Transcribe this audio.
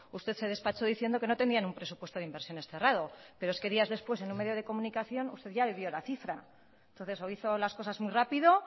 usted se despachó diciendo que no tenían un presupuesto de inversiones cerrado pero es que días después en un medio de comunicación usted ya le dio la cifra entonces o hizo las cosas muy rápido